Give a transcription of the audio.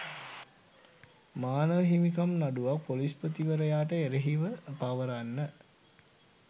මානව හිමිකම් නඩුවක් ‍පොලිස්පතිවරයාට එරෙහිව පවරන්න.